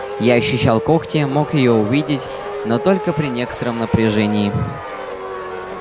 я ощущал когти мог её увидеть но только при некотором напряжении